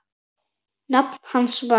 Nafn hans var